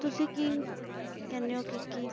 ਤੁਸੀਂ ਕੀ ਕਹਿੰਦੇ ਹੋ ਕਿ ਕੀ